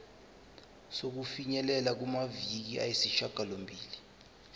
sokufinyelela kumaviki ayisishagalombili